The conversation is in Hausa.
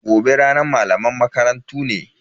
Gobe ranar malaman makarantu ne.